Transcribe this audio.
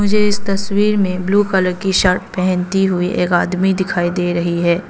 मुझे इस तस्वीर में ब्लू कलर की शर्ट पहनती हुई आदमी दिखाई दे रही है।